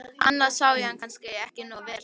Annars sá ég hann kannski ekki nógu vel.